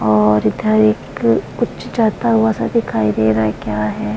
और इधर एक कुछ जड़ता हुआ सा दिखाई दे रहा है क्या है ।